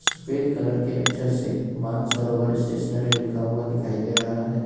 सफेद कलर के अक्षर से मान सरोवर स्टेशनरी लिखा हुआ दिखाई दे रहा है।